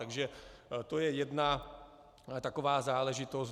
Takže to je jedna taková záležitost.